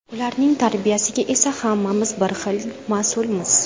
Ularning tarbiyasiga esa hammamiz bir xilda mas’ulmiz.